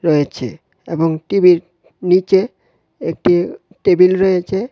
হয়েচে এবং টিভির নীচে একটি টেবিল রয়েচে ।